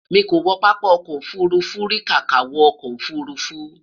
mí kò wo pápá ọkọ̀ òfurufú ríi kàkà wo ọkọ ofurufu